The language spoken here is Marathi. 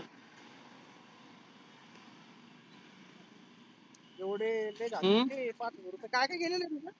एवढे लई पाच हजार रुपए. काय काय गेलेलं आहे तुझं?